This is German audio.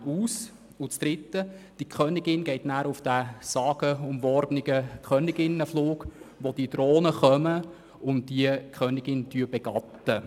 In der dritten Phase geht die Königin auf den sagenumwobenen Königinnenflug, wo Drohnen kommen und die Königin begatten.